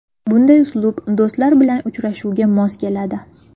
Bunday uslub do‘stlar bilan uchrashuvga mos keladi.